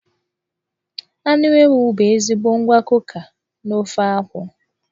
Anụ ewu bụ ezigbo ngwakọka n'ofe akwu.